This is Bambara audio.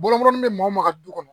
Bɔnɔnin bɛ maa o maa ka du kɔnɔ